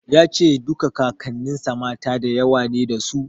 Ya ce duka Kakanninsa mata da yawa ne dasu.